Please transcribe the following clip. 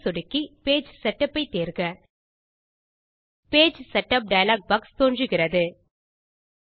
page ஐ சொடுக்கி page setup ஐ தேர்க பேஜ் செட்டப் டயலாக் பாக்ஸ் தோன்றுகிறது